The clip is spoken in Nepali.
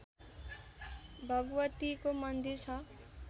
भगवतीको मन्दिर छ